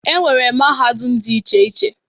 E nwere mahadum dị iche iche.